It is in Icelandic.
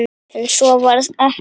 En svo varð ekki.